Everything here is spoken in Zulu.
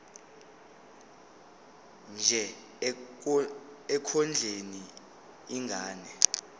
nje ekondleni ingane